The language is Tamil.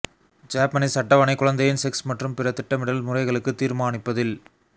ஜப்பனீஸ் அட்டவணை குழந்தையின் செக்ஸ் மற்றும் பிற திட்டமிடல் முறைகளுக்கு தீர்மானிப்பதில்